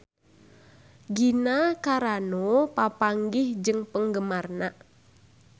Gina Carano papanggih jeung penggemarna